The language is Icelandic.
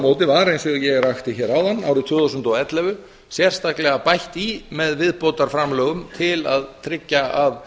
móti var eins og ég rakti hér áðan árið tvö þúsund og ellefu sérstaklega bætt í með viðbótarframlögum til að tryggja að